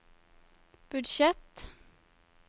budsjett